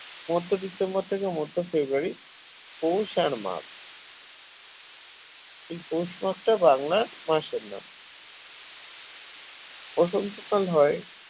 মধ্য ডিসেম্বর থেকে মধ্য ফেব্রুয়ারী পৌষ আর মাঘ এই পৌষ মাঘ টা বাংলার মাসের নাম বসন্তকাল হয়